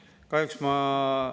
Aitäh!